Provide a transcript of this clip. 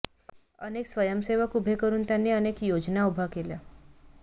अनेक स्वंयसेवक उभे करून त्यांनी अनेक योजना उभ्या केल्या